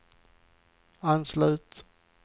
anslut